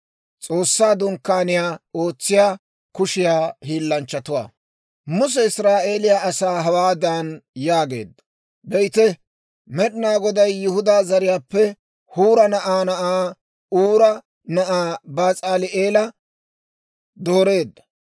Muse Israa'eeliyaa asaa hawaadan yaageedda; «Be'ite; Med'inaa Goday Yihudaa zariyaappe Huura na'aa na'aa, Uura na'aa, Bas'aali'eela dooreedda.